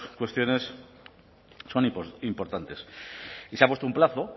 cuestiones son importantes y se ha puesto un plazo